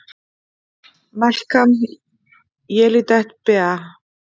Melkam Yelidet Beaal!